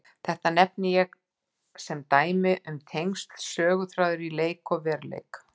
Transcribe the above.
Þetta nefni ég sem dæmi um tengsl söguþráðar í leik og veruleik.